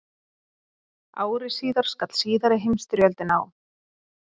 Ári síðar skall síðari heimsstyrjöldin á.